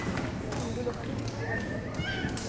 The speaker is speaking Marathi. आपलं हिंदू लोकांचा नववर्ष असतं तुला तर माहिती आहे